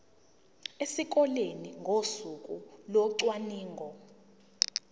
esikoleni ngosuku locwaningo